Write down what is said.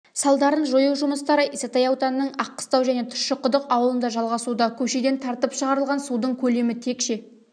салдарын жою жұмыстары исатай ауданының аққыстау және тұщықұдық ауылында жалғасуда көшеден тартып шығарылған судың көлемі текше